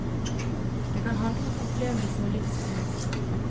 Det kan handle om opplevelse og livsglede.